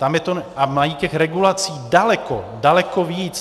A mají těch regulací daleko, daleko víc.